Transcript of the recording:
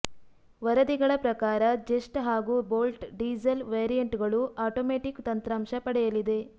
ವರದಿಗಳ ಪ್ರಕಾರ ಜೆಸ್ಟ್ ಹಾಗೂ ಬೋಲ್ಟ್ ಡೀಸೆಲ್ ವೆರಿಯಂಟ್ಗಳು ಆಟೋಮ್ಯಾಟಿಕ್ ತಂತ್ರಾಂಶ ಪಡೆಯಲಿದೆ